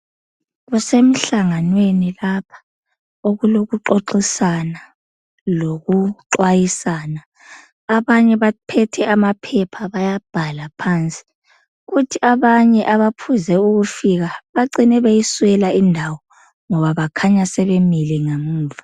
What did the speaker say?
Kusemhlanganweni lapha okulokuxoxisana lokuxhwayisana abanye baphethe amaphepha bayabhala phansi kuthi abanye abaphuze ukufika bagcine beyiswela indawo ngoba bakhanya sebemile ngemuva